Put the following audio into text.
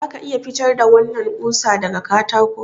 Za ka iya fitar da wannan ƙusa daga katako?